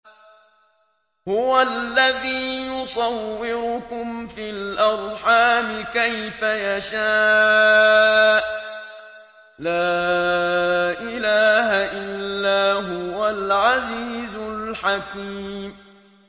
هُوَ الَّذِي يُصَوِّرُكُمْ فِي الْأَرْحَامِ كَيْفَ يَشَاءُ ۚ لَا إِلَٰهَ إِلَّا هُوَ الْعَزِيزُ الْحَكِيمُ